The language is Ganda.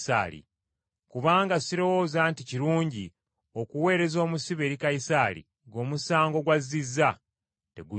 Kubanga sirowooza nti kirungi okuweereza omusibe eri Kayisaali ng’omusango gw’azizza tegunnyonnyose.”